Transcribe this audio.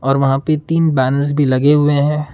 और वहां पे तीन बैनर्स भी लगे हुए हैं।